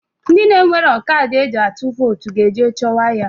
Ndị na-enwero kadị e ji atụ votu ga-eje chọwa ya.